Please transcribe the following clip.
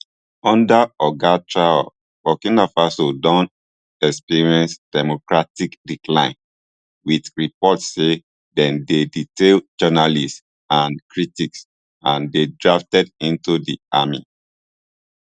under oga traor burkina faso don experience democratic decline wit reports say dem dey detain journalists and critics and dey drafted into di army